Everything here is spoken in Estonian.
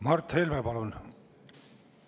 Mart Helme, palun!